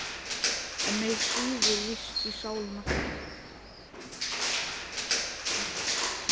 En mig svíður víst í sálina.